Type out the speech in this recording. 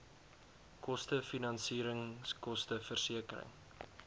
koste finansieringskoste versekering